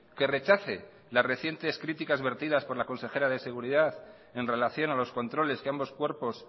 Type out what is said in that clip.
que rechace la recientes críticas vertidas por la consejera de seguridad en relación a los controles que ambos cuerpos